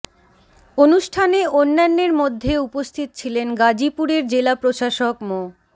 অনুষ্ঠানে অন্যান্যের মধ্যে উপস্থিত ছিলেন গাজীপুরের জেলা প্রশাসক মো